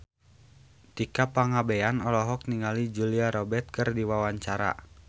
Tika Pangabean olohok ningali Julia Robert keur diwawancara